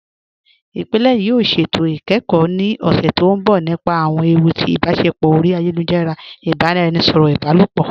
Ìpílẹ̀ náà yóò ṣétò ikẹ́kọ ni ọṣẹ̀ tó nbọ̀ nípa awọn èwù tì ibáṣẹpọ̀ ori ayélujara àti ibaràẹnisọ̀rọ ibàlọpọ.